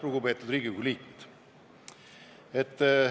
Lugupeetud Riigikogu liikmed!